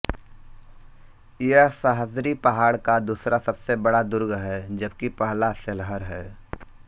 यह सह्याद्री पहाड़ का दूसरा सबसे बड़ा दुर्ग है जबकि पहला सेल्हर है